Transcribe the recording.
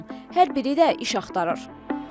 Hər biri də iş axtarır.